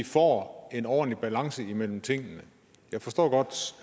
får en ordentlig balance imellem tingene jeg forstår godt